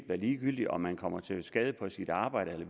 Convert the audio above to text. være ligegyldigt om man kommer til skade på sit arbejde